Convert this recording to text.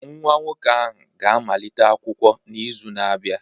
Nwa nwoke ahụ ga-amalite akwụkwọ n'izu na-abịa